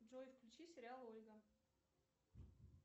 джой включи сериал ольга